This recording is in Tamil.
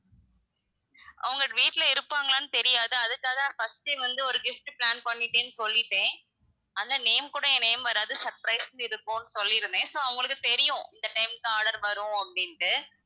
அவங்க வீட்ல இருப்பாங்களான்னு தெரியாது அதுக்காக நான் first ஏ வந்து ஒரு gift plan பண்ணிட்டேன்னு சொல்லிட்டேன் ஆனா name கூட என் name வராது surprise ன்னு இருக்கும்ன்னு சொல்லிருந்தேன் so அவுங்களுக்கு தெரியும் இந்த time க்கு order வரும் அப்படின்னுட்டு,